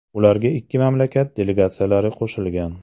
Ularga ikki mamlakat delegatsiyalari qo‘shilgan.